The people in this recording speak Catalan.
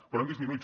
però han disminuït